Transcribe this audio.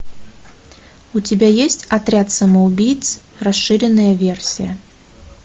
у тебя есть отряд самоубийц расширенная версия